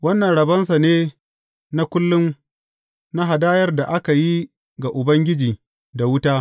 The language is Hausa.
Wannan rabonsa ne na kullum na hadayar da aka yi ga Ubangiji da wuta.